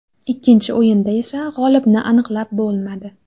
Ikkinchi o‘yinda esa g‘olibni aniqlab bo‘lmadi.